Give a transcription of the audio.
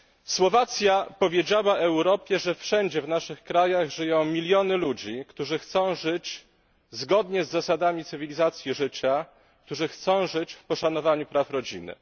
Słowacja powiedziała Europie, że wszędzie w naszych krajach żyją miliony ludzi, którzy chcą żyć zgodnie z zasadami cywilizacji życia, którzy chcą żyć w poszanowaniu praw rodziny.